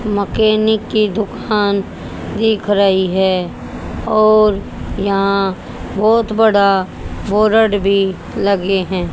Mechanic की दुकान दिख रही है और यहां बहोत बड़ा बोरड भी लगे हैं।